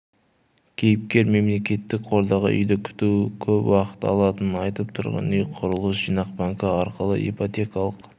кейіпкер мемлекеттік қордағы үйді күту көп уақыт алатынын айтып тұрғын үй құрылыс жинақ банкі арқылы ипотекалық